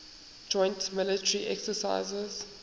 joint military exercises